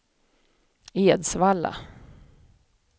Edsvalla